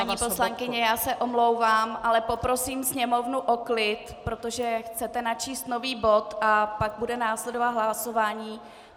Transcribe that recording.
Paní poslankyně, já se omlouvám, ale poprosím sněmovnu o klid, protože chcete načíst nový bod a pak bude následovat hlasování.